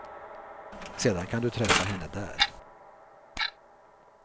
Sedan kan du träffa henne där.